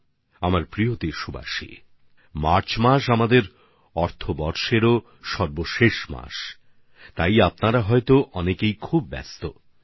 আমার প্রিয় দেশবাসীরা মার্চ মাসটি আমাদের অর্থবর্ষের সর্বশেষ মাসও হয় সেজন্যে আপনাদের মধ্যে অনেকের জন্য ভীষণ ব্যস্ততার সময়